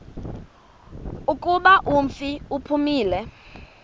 kuba umfi uphumile